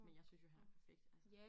Men jeg synes jo han er perfekt altså